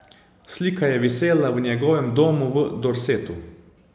Slika je visela v njegovem domu v Dorsetu.